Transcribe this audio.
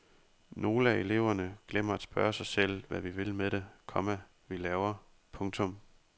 Nogle af eleverne glemmer at spørge sig selv hvad vi vil med det, komma vi laver. punktum